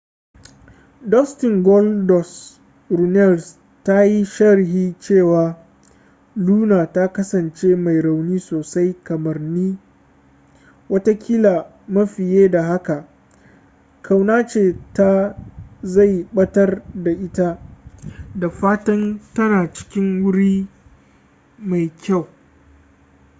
dustin goldust” runnels ta yi sharhi cewa luna ta kasance mai rauni sosai kamar ni ... wataƙila ma fiye da haka ... ƙaunace ta zai batar da ita ... da fatan tana cikin wuri mafi kyau.